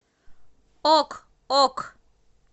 ок ок